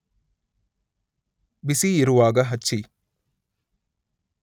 ಬಿಸಿಯಿರುವಾಗ ಹಚ್ಚಿ